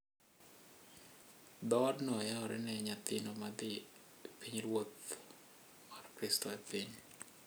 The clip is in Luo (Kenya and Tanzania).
Dhoodno yawore ne nyathino ma dhi e pinyruoth mar Kristo e piny;